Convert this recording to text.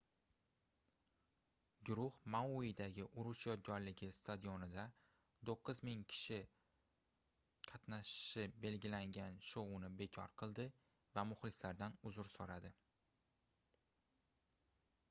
guruh mauidagi urush yodgorligi stadionida 9000 kishi qatnashishi belgilangan shouni bekor qildi va muxlislaridan uzr soʻradi